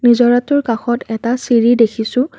নিজৰাটোৰ কাষত এটা চিৰি দেখিছোঁ।